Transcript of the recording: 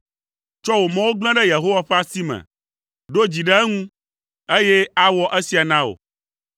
Tsɔ wò mɔwo gblẽ ɖe Yehowa ƒe asi me; ɖo dzi ɖe eŋu, eye awɔ esia na wò.